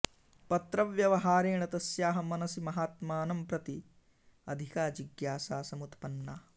पत्रव्यवहारेण तस्याः मनसि महात्मानं प्रति अधिका जिज्ञासा समुत्पन्ना